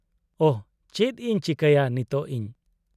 -ᱳᱦ ! ᱪᱮᱫ ᱤᱧ ᱪᱤᱠᱟᱹᱭᱟ ᱱᱤᱛᱚᱜ ᱤᱧ ?